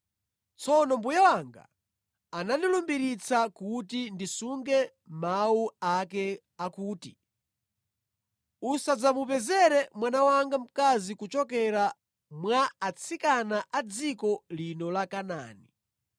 Tsono mbuye wanga anandilumbiritsa kuti ndisunge mawu ake akuti, ‘Usadzamupezere mwana wanga mkazi kuchokera mwa atsikana a dziko lino la Kanaani,